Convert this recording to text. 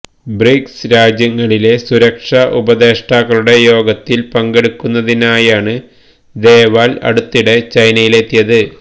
BRICS രാജ്യങ്ങളിലെ സുരക്ഷാ ഉപദേഷ്ടാക്കളുടെ യോഗത്തില് പങ്കെടുക്കുന്നതിനായാണ് ദോവല് അടുത്തിടെ ചൈനയിലെത്തിയത്